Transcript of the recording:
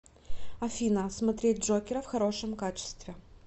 афина смотреть джокера в хорошем качестве